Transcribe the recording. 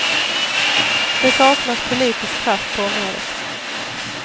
Det saknas politisk kraft på området.